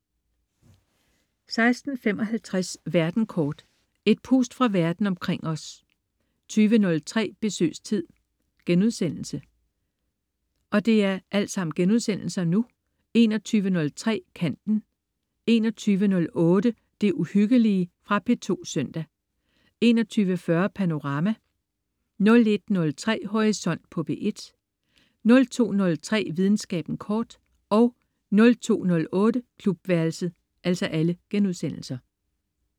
16.55 Verden kort. Et pust fra verden omkring os 20.03 Besøgstid* 21.03 Kanten* 21.08 Det Uhyggelige.* Fra P2 søndag 21.40 Panorama* 01.03 Horisont på P1* 02.03 Videnskaben kort* 02.08 Klubværelset*